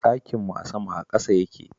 Ɗakin mu a sama a ƙasa yake